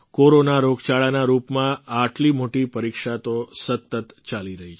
corona રોગચાળાના રૂપમાં આટલી મોટી પરીક્ષા તો સતત ચાલી રહી છે